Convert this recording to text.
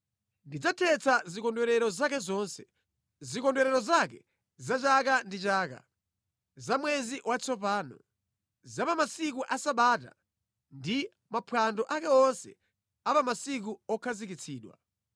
Ndidzathetsa zikondwerero zake zonse: zikondwerero zake za chaka ndi chaka, za mwezi watsopano, za pa masiku a Sabata ndi maphwando ake onse a pa masiku okhazikitsidwa.